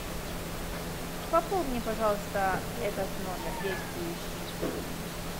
пополни пожалуйста этот номер действующий